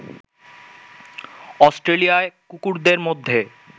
অস্ট্রেলিয়ায় কুকুরদের মধ্যে